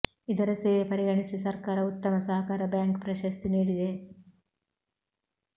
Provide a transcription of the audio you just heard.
ಇದರ ಸೇವೆ ಪರಿಗಣಿಸಿ ಸರ್ಕಾರ ಉತ್ತಮ ಸಹಕಾರ ಬ್ಯಾಂಕ್ ಪ್ರಶಸ್ತಿ ನೀಡಿದೆ